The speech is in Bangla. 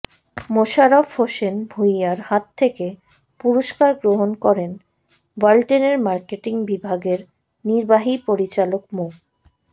মোশাররফ হোসেন ভূঁইয়ার হাত থেকে পুরস্কার গ্রহণ করেন ওয়ালটনের মার্কেটিং বিভাগের নির্বাহী পরিচালক মো